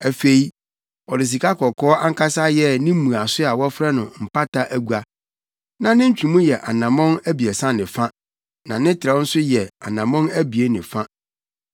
Afei, ɔde sikakɔkɔɔ ankasa yɛɛ ne mmuaso a wɔfrɛ no Mpata Agua. Na ne ntwemu yɛ anammɔn abiɛsa ne fa, na ne trɛw nso yɛ anammɔn abien ne fa.